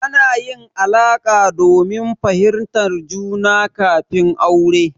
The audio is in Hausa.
Ana yin alaƙa domin fahimtar juna kafin aure.